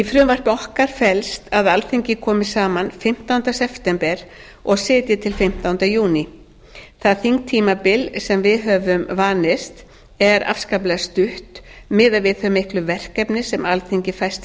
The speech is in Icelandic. frumvarpi okkar felst að alþingi komi saman fimmtánda september og sitji til fimmtánda júní það þingtímabil sem við höfum vanist er afskaplega stutt miðað við þau miklu verkefni sem alþingi fæst við í